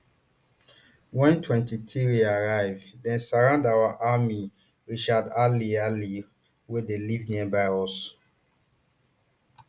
wen mtwenty-three arrive here dem surround our army richard ali ali wey dey live nearby tell me